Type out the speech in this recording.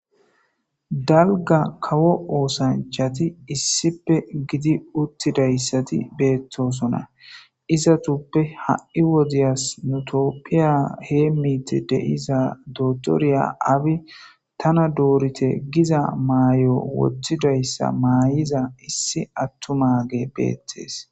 Dalga kawo oosanchati issipe gidi uttidayssati beettosona izatuppe ha'i wodiyas nutoppiya hee miiti de'iza dotoriya abi tana doorite giza maayo wotthidayssa maay'iza issi attu mage beettees